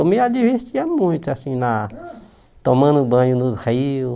Eu me a divertia muito, assim, na tomando banho nos rios.